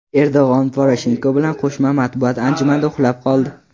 Erdo‘g‘on Poroshenko bilan qo‘shma matbuot anjumanida uxlab qoldi .